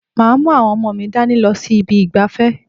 Màá mú àwọn ọmọ mi dání lọ sí ibi ìgbafẹ́.